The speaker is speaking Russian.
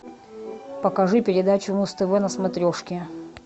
покажи передачу муз тв на смотрешке